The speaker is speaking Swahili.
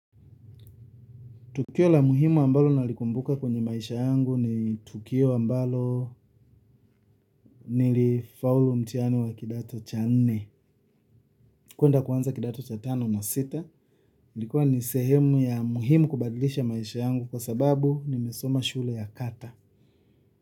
Tukio la muhimu ambalo nalikumbuka kwenye maisha yangu ni tukio ambalo nilifaulu mtihani wa kidato cha nne kuenda kuanza kidato cha tano na sita. Ilikuwa ni sehemu ya muhimu kubadilisha maisha yangu kwa sababu nimesoma shule ya kata.